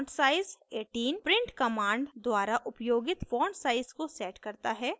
fontsize 18 print command द्वारा उपयोगित font size को sets करता है